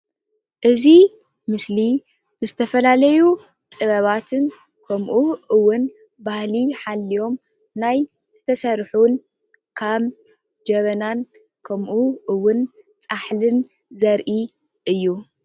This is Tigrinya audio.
እዚ ምስሊ ዝተፈላለዩ ጥበባትን ኸምኡ እውን ባህሊ ሓልዮም ናይ ዝተሰርሑን ከም ጀበናን ከምኡ እዉን ፃሕልን ዘርኢ እዩ።